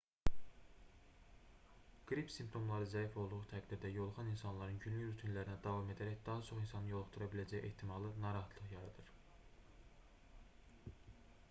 qrip simptomları zəif olduğu təqdirdə yoluxan insanların günlük rutinlərinə davam edərək daha çox insanı yoluxdura biləcəyi ehtimalı narahatlıq yaradır